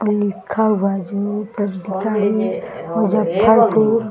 लिखा हुआ जो ऊपर